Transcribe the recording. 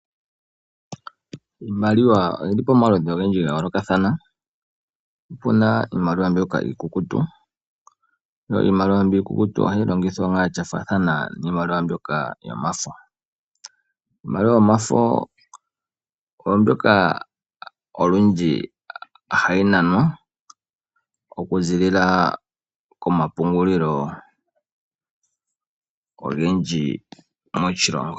Iimaliwa oyili pamaludhi ogendji ga yoolokathana, opuna iimaliwa mbyoka iikukutu. Iimaliwa mbyoka iikukutu ohayi longithwa nduno sha faathana niimaliwa mbyoka yomafo. Iimaliwa yomafo oyo mbyoka olundji hayi nanwa, okuzilila komapungulilo ogendji moshilongo.